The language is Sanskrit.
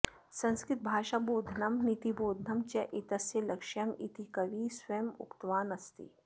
संस्कृतभाषाबोधनं नीतिबोधनं च एतस्य लक्ष्यम् इति कविः स्वयम् उक्तवान् अस्ति